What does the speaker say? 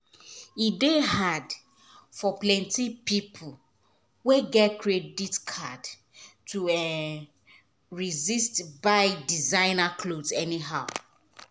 e dey hard for plenty people wey get credit card to um resist buy designer cloth anyhow.